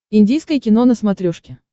индийское кино на смотрешке